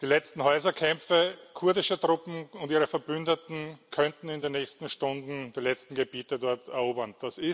die letzten Häuserkämpfe kurdischer Truppen und ihrer Verbündeten könnten in den nächsten Stunden die letzten Gebiete dort erobern.